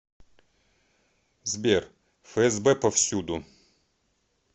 сбер фсб повсюду